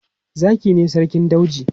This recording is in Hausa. Zaki ne sarkin dauji.